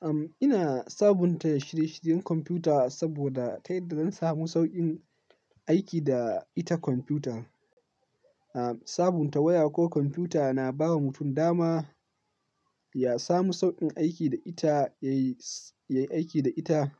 Am, ina sabunta shirye-shiryen kwamfuta saboda ta yadda zan samu sauƙin aiki da ita kwamfuta. Am, sabunta waya ko kwamfuta na ba wa mutum dama ya samu sauƙin aiki da ita, yayi, yayi aiki da ita